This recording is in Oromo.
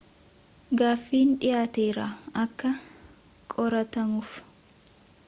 gaaffiin dhiyaateera akka qoratamuuf